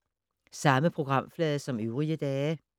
Samme programflade som øvrige dage